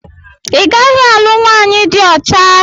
I gaghị alụ nwaanyị dị ọcha!